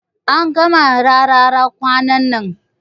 An kama Rarara kwanan nan.